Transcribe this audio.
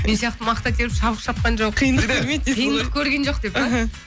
мен сияқты мақта теріп шабық шапқан жоқ қиындық көрген жоқ деп па